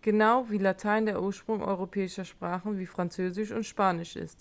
genau wie latein der ursprung europäischer sprachen wie französisch und spanisch ist